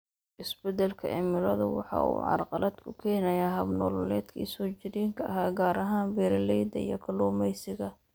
Isbeddelka cimiladu waxa uu carqalad ku keenayaa hab-nololeedkii soo jireenka ahaa, gaar ahaan beeralayda iyo kalluumaysiga.